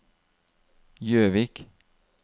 Gjøvik